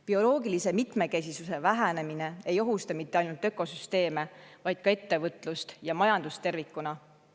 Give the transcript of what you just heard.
Bioloogilise mitmekesisuse vähenemine ei ohusta mitte ainult ökosüsteeme, vaid ka ettevõtlust ja majandust tervikuna.